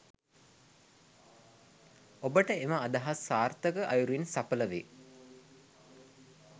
ඔබට එම අදහස් සාර්ථක අයුරින් සඵල වේ